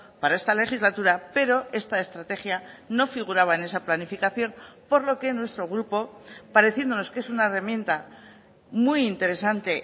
para esta legislatura pero esta estrategia no figuraba en esa planificación por lo que nuestro grupo pareciéndonos que es una herramienta muy interesante